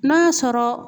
N'a sɔrɔ